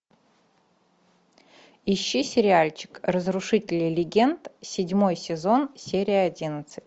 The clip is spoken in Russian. иди сериальчик разрушители легенд седьмой сезон серия одиннадцать